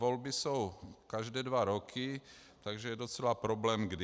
Volby jsou každé dva roky, takže je docela problém kdy.